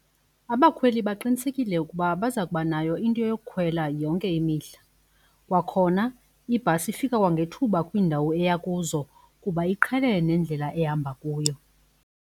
Abakhweli baqinisekile ukuba baza kubanayo into yokukhwela yonke imihla kwakhona ibhasi ifike kwangethuba kwiindawo eya kuzo kuba iqhelene nendlela ehamba kuyo.